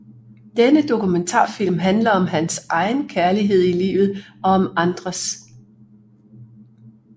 Denne dokumentarfilm handler om hans egen kærlighed i livet og om andres